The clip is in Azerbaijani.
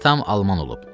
Atam alman olub.